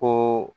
Ko